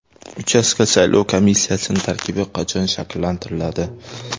Uchastka saylov komissiyalarining tarkibi qachon shakllantiriladi?